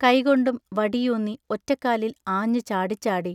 കൈകൊണ്ടും വടി ഊന്നി, ഒറ്റക്കാലിൽ ആഞ്ഞു ചാടിച്ചാടി...